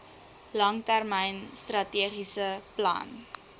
langtermyn strategiese plan